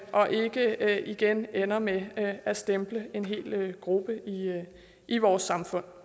og ikke igen ender med at stemple en hel gruppe i vores samfund